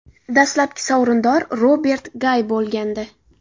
Dastlabki sovrindor Robert Gay bo‘lgandi.